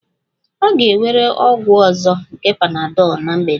Ọ ga-ewere ọgwụ ọzọ nke panadol na mgbede a